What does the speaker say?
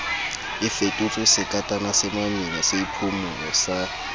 a fetotswesekatana semamina seiphumolo sa